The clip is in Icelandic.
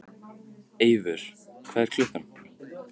Eivör, hvað er klukkan?